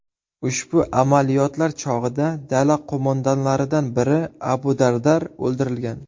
Ushbu amaliyotlar chog‘ida dala qo‘mondonlaridan biri Abu Dardar o‘ldirilgan.